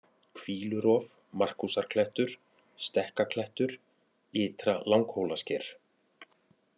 Hvílurof, Markúsarklettur, Stekkaklettur, Ytra-Langhólasker